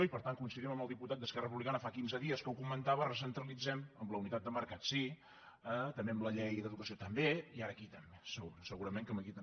i per tant coincidim amb el diputat d’esquerra republicana fa quinze dies que ho co·mentava recentralitzem amb la unitat de mercat sí també amb la llei d’educació i ara aquí també segu·rament que aquí també